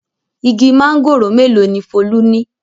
Igi mángòrò mélòó ni Folú ní?